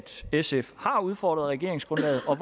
sf har udfordret regeringsgrundlaget og